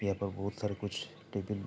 यहाँ पर बहुत सारा कुछ टेबिल --